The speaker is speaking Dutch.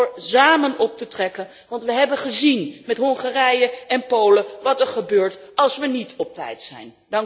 Ik stel voor samen op te trekken want we hebben gezien met Hongarije en Polen wat er gebeurt als we niet op tijd zijn.